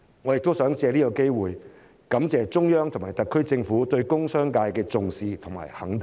我亦想藉此機會感謝中央及特區政府對工商界的重視和肯定。